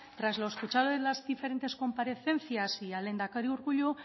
tras lo escuchado en las diferentes comparecencias y al lehendakari urkullu